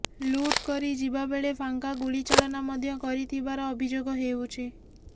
ଲୁଟ୍ କରି ଯିବା ବେଳେ ଫାଙ୍କା ଗୁଳିଚାଳନା ମଧ୍ୟ କରିଥିବାର ଅଭିଯୋଗ ହେଉଛି